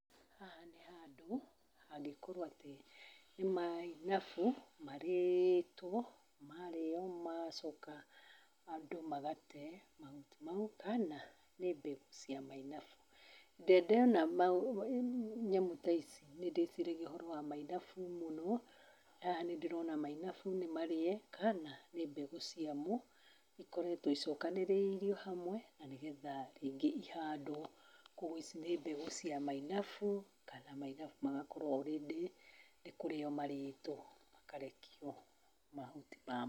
Haha nĩ handũ hangĩkorwo atĩ, nĩ mainabu marĩtwo, maarĩo, maacoka andũ magate mahuti mau kana, nĩ mbegũ cia mainabu. Ndĩ ndona nyamũ ta ici, nĩ ndĩĩciragia ũhoro wa mainabu mũno. Haha nĩ ndĩrona mainabu nĩ marĩe, kana nĩ mbegũ ciamo ikoretwo icokanĩrĩirio hamwe na nĩgetha rĩngĩ ihandwo. Kwoguo, ici nĩ mbegũ cia mainabu kana mainabu magakorwo all ready nĩ kũrĩo marĩtwo makarekio mahuti mamo.